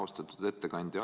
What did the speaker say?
Austatud ettekandja!